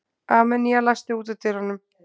Armenía, læstu útidyrunum.